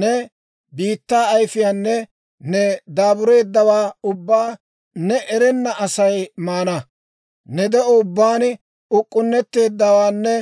Ne biittaa ayifiyaanne ne daabureeddawaa ubbaa ne erenna Asay maana; ne de'o ubbaan uk'k'unnetteeddawaanne